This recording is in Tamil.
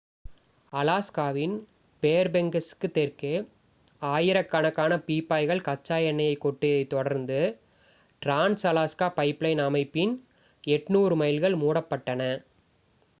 அலாஸ்காவின் ஃபேர்பேங்க்ஸுக்கு தெற்கே ஆயிரக்கணக்கான பீப்பாய்கள் கச்சா எண்ணெயைக் கொட்டியதைத் தொடர்ந்து டிரான்ஸ்-அலாஸ்கா பைப்லைன் அமைப்பின் 800 மைல்கள் மூடப்பட்டன